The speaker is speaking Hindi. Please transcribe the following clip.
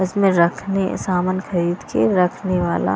इसमें रखने सामान खरीद के रखने वाला--